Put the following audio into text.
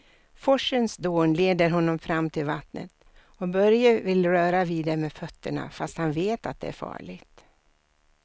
Forsens dån leder honom fram till vattnet och Börje vill röra vid det med fötterna, fast han vet att det är farligt.